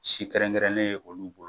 Si kɛrɛnkɛrɛnnen ye olu bolo